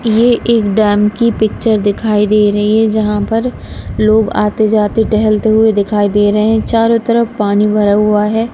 ये एक डैम की पिक्चर दिखाई दे रही है जहां पर लोग आते जाते टहलते हुए दिखाई दे रहे हैं चारों तरफ पानी भरा हुआ है।